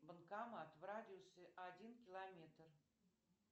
банкомат в радиусе один километр